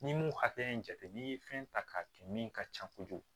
N'i m'o hakɛ in jate n'i ye fɛn ta k'a kɛ min ka ca kojugu